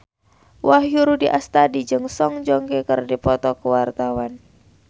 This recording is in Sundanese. Wahyu Rudi Astadi jeung Song Joong Ki keur dipoto ku wartawan